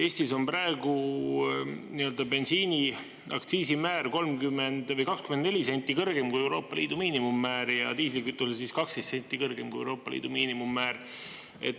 Eestis on praegu bensiini aktsiisimäär 30 või 24 senti kõrgem kui Euroopa Liidu miinimummäär ja diislikütusel 12 senti kõrgem kui Euroopa Liidu miinimummäär.